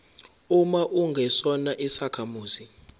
uma ungesona isakhamuzi